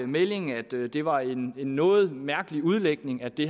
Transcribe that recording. meldingen at det det var en noget mærkelig udlægning at det